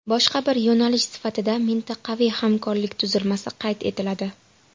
Boshqa bir yo‘nalish sifatida mintaqaviy hamkorlik tuzilmasi qayd etiladi.